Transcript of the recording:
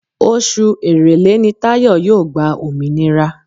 Oṣù Èrèlé ni Táyọ̀ yóò gba òmìnira